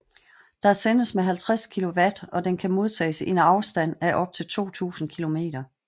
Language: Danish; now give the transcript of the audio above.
Der sendes med 50 kW og den kan modtages i en afstand af op til 2000 km